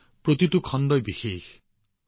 প্ৰতিটো খণ্ডই একোটা অনন্য খণ্ড আছিল